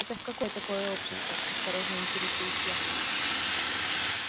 это в какое такое общество осторожно интересуюсь я